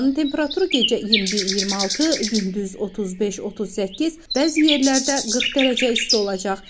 Havanın temperaturu gecə 21-26, gündüz 35-38, bəzi yerlərdə 40 dərəcə isti olacaq.